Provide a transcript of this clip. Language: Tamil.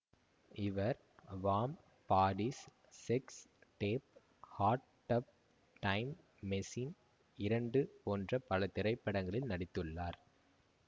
இவர் warm bodies sex tape hot tub time machine இரண்டு போன்ற பல திரைப்படங்களில் நடித்துள்ளார்